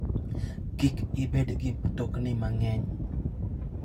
Kik ibed gi mtokni mang'eny.